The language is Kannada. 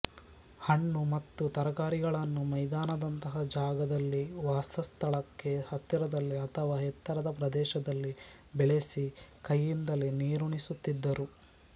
ಹಣ್ಣು ಮತ್ತು ತರಕಾರಿಗಳನ್ನು ಮೈದಾನದಂತಹ ಜಾಗದಲ್ಲಿ ವಾಸಸ್ಥಳಕ್ಕೆ ಹತ್ತಿರದಲ್ಲಿ ಅಥವಾ ಎತ್ತರದ ಪ್ರದೇಶದಲ್ಲಿ ಬೆಳೆಸಿ ಕೈಯಿಂದಲೇ ನೀರುಣಿಸುತ್ತಿದ್ದರು